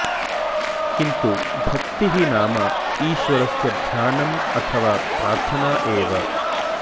किन्तु भक्तिः नाम ईश्वरस्य ध्यानम् अथवा प्रार्थना एव